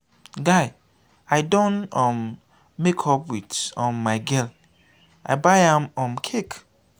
guy i don um make up wit um my girl i buy am um cake.